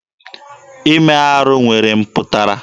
Ime arụ nwere mpụtara.